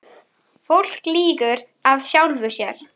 Fólk lýgur að sjálfu sér.